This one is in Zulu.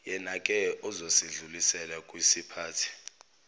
yenake ozosedlulisela wkisiphathi